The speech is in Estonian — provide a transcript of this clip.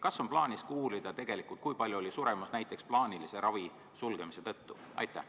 Kas on plaanis uurida, kui palju oli suremus näiteks plaanilise ravi sulgemise tõttu?